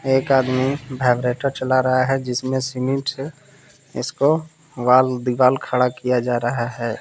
एक आदमी वाइब्रेटर चला रहा है जिसमें सीमेंट से इसको वॉल दीवाल खड़ा किया जा रहा है।